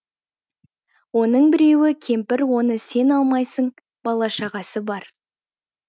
оның біреуі кемпір оны сен алмайсың бала шағасы бар